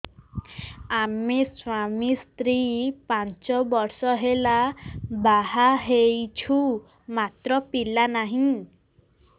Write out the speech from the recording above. ଆମେ ସ୍ୱାମୀ ସ୍ତ୍ରୀ ପାଞ୍ଚ ବର୍ଷ ହେଲା ବାହା ହେଇଛୁ ମାତ୍ର ପିଲା ନାହିଁ